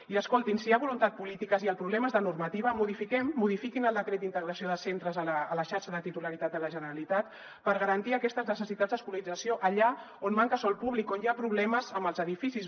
i escoltin si hi ha voluntat política i el problema és de normativa modifiquem modifiquin el decret d’integració de centres a la xarxa de titularitat de la generalitat per garantir aquestes necessitats d’escolarització allà on manca sòl públic on hi ha problemes amb els edificis